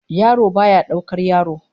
Yaro baya daukar yaro